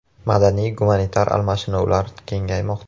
Madaniy-gumanitar almashinuvlar kengaymoqda.